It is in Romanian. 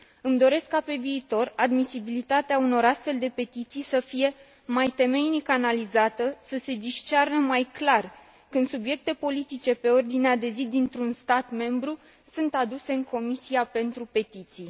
Îmi doresc ca, pe viitor, admisibilitatea unor astfel de petiții să fie mai temeinic analizată, să se discearnă mai clar când subiecte politice pe ordinea de zi dintr un stat membru sunt aduse în Comisia pentru petiții.